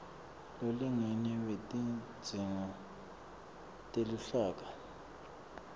lolingene wetidzingo teluhlaka